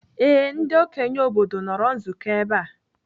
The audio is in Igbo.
Ee, ndị okenye obodo nọrọ nzukọ ebe a.